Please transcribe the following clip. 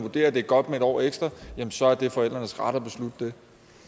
at det er godt med en år ekstra så er det forældrenes ret at beslutte